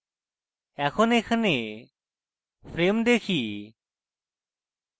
এখন এখানে frames দেখি